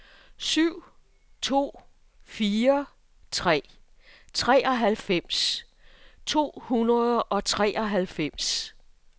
syv to fire tre treoghalvfems to hundrede og treoghalvfems